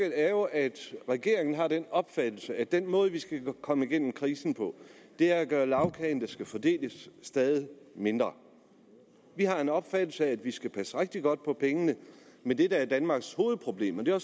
er jo at regeringen har den opfattelse at den måde vi skal komme igennem krisen på er at gøre lagkagen der skal fordeles stadig mindre vi har en opfattelse af at vi skal passe rigtig godt på pengene men det der er danmarks hovedproblem og det er